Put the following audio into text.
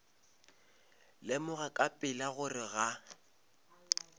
lemoga ka pela gore ga